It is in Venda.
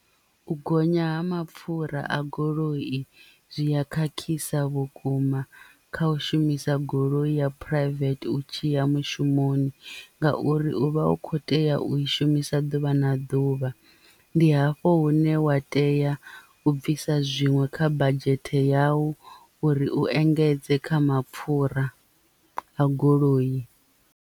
U gonya ha mapfura a goloi zwi a khakhisa vhukuma kha u shumisa goloi ya private u tshiya mushumoni ngauri u vha u kho tea u i shumisa ḓuvha na ḓuvha ndi hafho hune wa tea u bvisa zwinwe kha badzhete yau uri u engedze kha mapfhura a goloi.